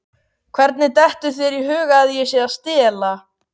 Hvernig dettur þér í hug að ég sé að stela?